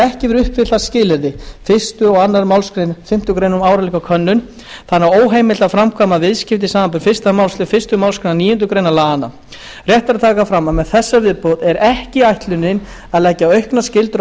ekki verið uppfyllt skilyrði fyrstu og annarri málsgrein fimmtu grein um áreiðanleikakönnun og þannig óheimilt að framkvæma viðskipti samanber fyrstu málsl fyrstu málsgrein níundu grein laganna rétt er að taka fram að með þessari viðbót er ekki ætlunin að leggja auknar skyldur á